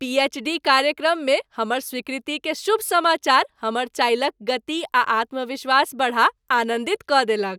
पी. H. D. कार्यक्रम मे हमर स्वीकृति के शुभ समाचार हमर चालि क गति आ आत्म्विश्वास बढ़ा आनन्दित क देलक ।